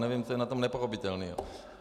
Nevím, co je na tom nepochopitelného.